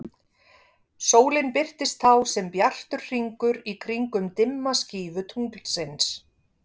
sólin birtist þá sem bjartur hringur í kringum dimma skífu tunglsins